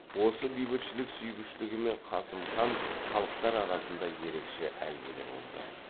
осы бейбітшілік сүйгіштігімен қасым хан халықтар арасында ерекше әйгілі болды